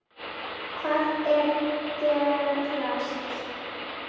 Hvað er gerast?